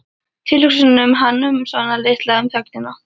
Tilhugsuninni um hann- um Svan litla- um þögnina.